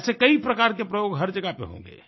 ऐसे कई प्रकार के प्रयोग हर जगह पर होंगे